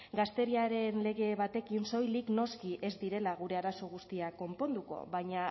gazteriaren lege batekin soilik noski ez direla gure arazo guztiak konponduko baina